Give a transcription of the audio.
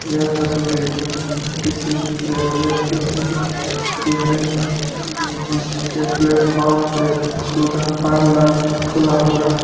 यह तस्वीर किसी रेलवे स्टेशन की है जिसके प्लेटफॉर्म पे सुद्धा पार्लर खुला हुआ है।